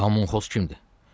"Komunxoz kimdir?"